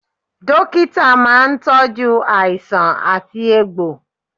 Dókítà máa ń tọju àìsàn àti egbò